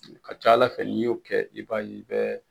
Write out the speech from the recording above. A ka ca Ala fɛ n'i y'o kɛ i b'a ye i bɛ